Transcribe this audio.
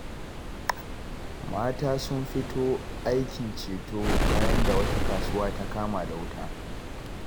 Mata sun fito aikin ceto bayan da wata kasuwa ta kama da wuta.